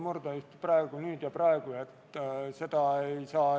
Muudatusettepanekuid eelnõu kohta esitatud ei ole.